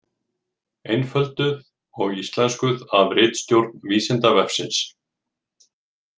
Einfölduð og íslenskuð af ritstjórn Vísindavefsins.